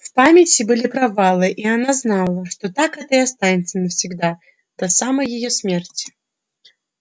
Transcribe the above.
в памяти были провалы и она знала что так это и останется навсегда до самой её смерти